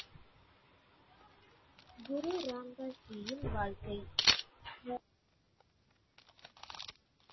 குரு ராம் தாஸ் ஜி யின் வாழ்க்கை